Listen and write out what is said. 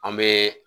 An bɛ